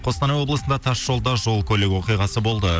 қостанай облысында тасжолда жол көлік оқиғасы болды